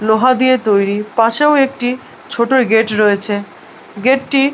লোহা দিয়ে তৈরী। পাশেও একটি ছোট গেট রয়েছে। গেট টি--